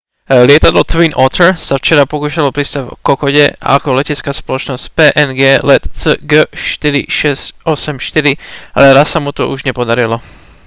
lietadlo twin otter sa včera pokúšalo pristáť v kokode ako letecká spoločnosť png let cg4684 ale raz sa mu to už nepodarilo